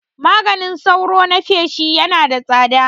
Maganin sauro na feshi Yana da tsada